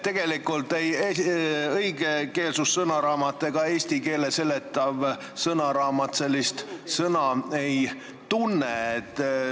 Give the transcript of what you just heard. Tegelikult ei õigekeelsussõnaraamat ega eesti keele seletav sõnaraamat sellist sõna ei tunne.